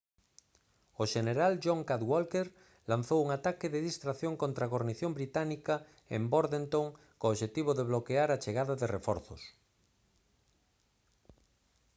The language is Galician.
o xeneral john cadwalder lanzou un ataque de distracción contra a gornición británica en bordentown co obxectivo de bloquear a chegada de reforzos